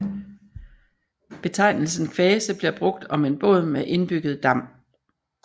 Betegnelsen kvase bliver brugt om en båd med indbygget dam